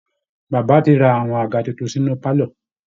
Baba ti ra àwọn àga tuntun sínú pálọ̀